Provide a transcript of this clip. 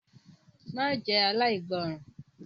Má jẹ́ aláìgbọràn!